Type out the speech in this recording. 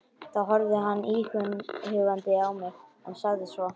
Þá horfði hann íhugandi á mig, en sagði svo